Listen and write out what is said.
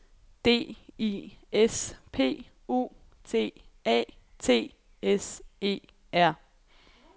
D I S P U T A T S E R